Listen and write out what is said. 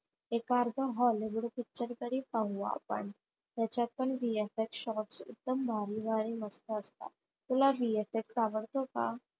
एखादा hollywood picture तरी पाहू आपण त्याच्यात पण VFXshots एकदम भारी भारी असतात. तुला VFX आवडतो का?